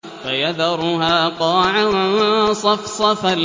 فَيَذَرُهَا قَاعًا صَفْصَفًا